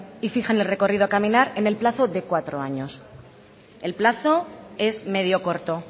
y fijan el recorrido a caminar en el plazo de cuatro años el plazo es medio corto